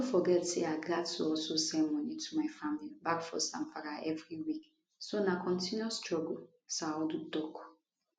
no forget say i gatz to also send money to my family back for zamfara every week so na continuous struggle saadu tok